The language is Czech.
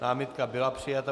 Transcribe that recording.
Námitka byla přijata.